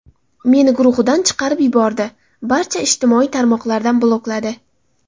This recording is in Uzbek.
Meni guruhidan chiqarib yubordi, barcha ijtimoiy tarmoqlardan blokladi.